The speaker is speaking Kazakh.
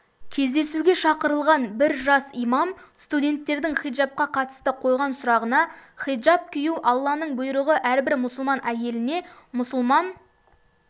кездесуге шақырылған бір жас имам студенттердің хиджабқа қатысты қойған сұрағына хиджаб кию алланың бұйрығы әрбір мұсылман әйеліне мұсылман